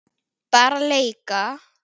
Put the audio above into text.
Bara leika.